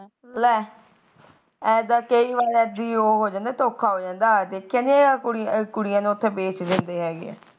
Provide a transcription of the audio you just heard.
ਇਦਾ ਕਈ ਵਾਰ ਉਹ ਹੋ ਜਾਂਦਾ ਧੋਖਾ ਹੋ ਜਾਂਦਾ ਕਹਿੰਦੇ ਐ ਕੁੜੀਆਂ ਨੂੰ ਉਥੇ ਬੇਚ ਦਿੰਦੇ ਹੈਗੇ